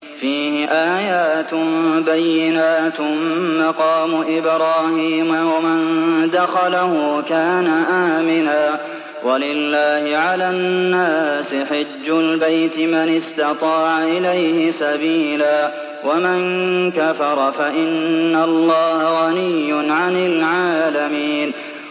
فِيهِ آيَاتٌ بَيِّنَاتٌ مَّقَامُ إِبْرَاهِيمَ ۖ وَمَن دَخَلَهُ كَانَ آمِنًا ۗ وَلِلَّهِ عَلَى النَّاسِ حِجُّ الْبَيْتِ مَنِ اسْتَطَاعَ إِلَيْهِ سَبِيلًا ۚ وَمَن كَفَرَ فَإِنَّ اللَّهَ غَنِيٌّ عَنِ الْعَالَمِينَ